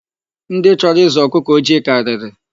Ndị chọrọ ịzụ ọkụkọ ojii karịrị.